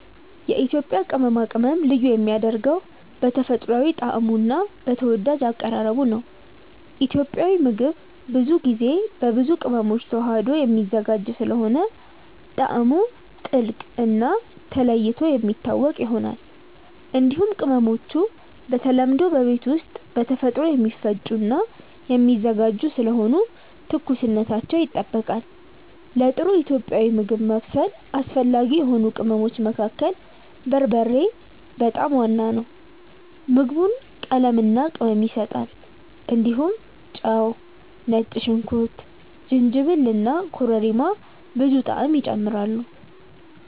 የኢትዮጵያ ቅመማ ቅመም ልዩ የሚያደርገው በተፈጥሯዊ ጣዕሙ እና በተወዳጅ አቀራረቡ ነው። ኢትዮጵያዊ ምግብ ብዙ ጊዜ በብዙ ቅመሞች ተዋህዶ የሚዘጋጅ ስለሆነ ጣዕሙ ጥልቅ እና ተለይቶ የሚታወቅ ይሆናል። እንዲሁም ቅመሞቹ በተለምዶ በቤት ውስጥ በተፈጥሮ የሚፈጩ እና የሚዘጋጁ ስለሆኑ ትኩስነታቸው ይጠበቃል። ለጥሩ ኢትዮጵያዊ ምግብ ማብሰል አስፈላጊ የሆኑ ቅመሞች መካከል በርበሬ በጣም ዋና ነው። ምግቡን ቀለምና ቅመም ይሰጣል። እንዲሁም ጨው፣ ነጭ ሽንኩርት፣ ጅንጅብል እና ኮረሪማ ብዙ ጣዕም ይጨምራሉ።